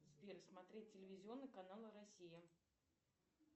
сбер смотреть телевизионный канал россия